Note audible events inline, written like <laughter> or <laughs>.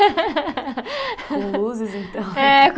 <laughs> Com luzes, então. É